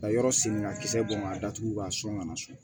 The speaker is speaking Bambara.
Ka yɔrɔ sen ka kisɛ bɔ k'a datugu k'a sɔn ka na so